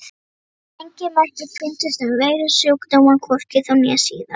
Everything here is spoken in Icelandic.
ENGIN merki fundust um veirusjúkdóma, hvorki þá né síðar!